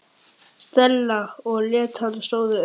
Stella og leit á hann stórum augum.